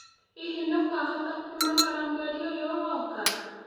Hihi nũĩkahota kũũmagara mwerĩ ũyũ ũroka?